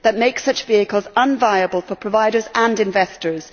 That makes such vehicles unviable for providers and investors.